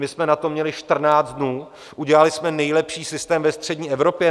My jsme na to měli 14 dnů, udělali jsme nejlepší systém ve střední Evropě.